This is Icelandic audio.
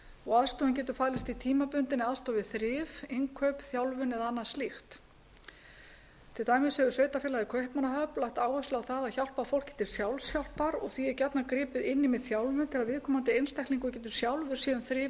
og aðstoðin getur falist í tímabundinni aðstoð við þrif innkaup þjálfun eða annað slíkt til dæmis hefur sveitarfélagið kaupmannahöfn lagt áherslu á það að hjálpa fólki til sjálfshjálpar og því er gjarnan gripið inn í með þjálfun til að viðkomandi einstaklingur geti sjálfur séð um þrif